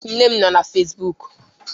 nne m nọ na Facibụkụ